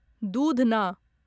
दूधना